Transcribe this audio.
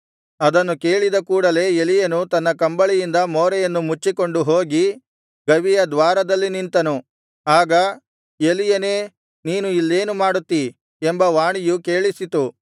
ಅದನ್ನು ಕೇಳಿದ ಕೂಡಲೆ ಎಲೀಯನು ತನ್ನ ಕಂಬಳಿಯಿಂದ ಮೋರೆಯನ್ನು ಮುಚ್ಚಿಕೊಂಡು ಹೋಗಿ ಗವಿಯ ದ್ವಾರದಲ್ಲಿ ನಿಂತನು ಆಗ ಎಲೀಯನೇ ನೀನು ಇಲ್ಲೇನು ಮಾಡುತ್ತೀ ಎಂಬ ವಾಣಿಯು ಕೇಳಿಸಿತು